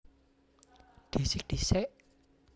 Dhisik disék